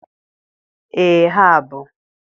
Ee ha bụ.